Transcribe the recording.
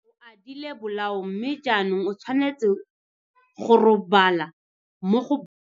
O adile bolao mme jaanong o tshwanetse go robala mo go.